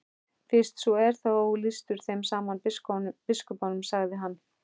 Fyrst svo er þá lýstur þeim saman biskupunum, sagði hann.